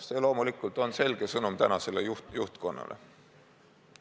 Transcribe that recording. See on loomulikult selge sõnum tänasele juhtkonnale.